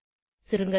சுருங்க சொல்ல